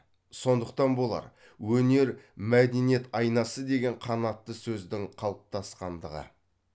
сондықтан болар өнер мәдениет айнасы деген қанатты сөздің қалыптасқандығы